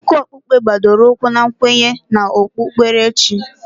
Akụkọ okpukpe gbadoro ụkwụ na nkwenye na okpukperechi.